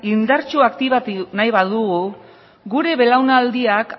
indartsu aktibatu nahi badugu gure belaunaldiak